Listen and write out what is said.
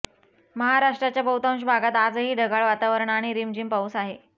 महाराष्ट्राच्या बहुतांश भागात आजही ढगाळ वातावरण आणि रिमझिम पाऊस आहे